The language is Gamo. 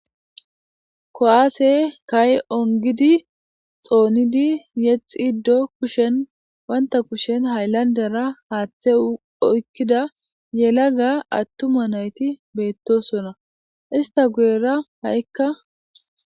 kowaase kay ongidi xoonidi yexiddo kushen wanta kushen hayllandera haaththe oykkida yela ga attuma nayti beettosona ista guyera ha7ikka